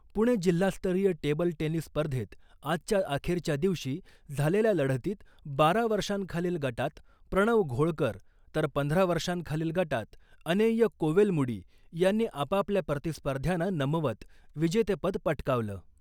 पुणे जिल्हास्तरीय table tennis स्पर्धेत आजच्या अखेरच्या दिवशी झालेल्या लढतीत बारा वर्षांखालील गटात प्रणव घोळकर तर पंधरा वर्षांखालील गटात अनेय कोवेलमुडी यांनी आपापल्या प्रतीस्पर्ध्याना नमवत विजेतेपद पटकावलं .